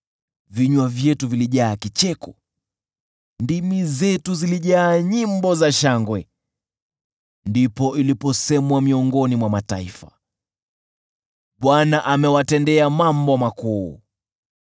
Vinywa vyetu vilijaa kicheko, ndimi zetu zilijaa nyimbo za shangwe. Ndipo iliposemwa miongoni mwa mataifa, “ Bwana amewatendea mambo makuu.”